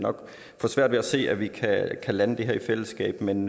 har svært ved at se at vi kan lande det her i fællesskab men